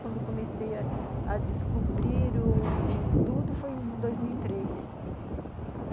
Quando eu comecei a descobrir tudo, foi em dois mil e três, uhum.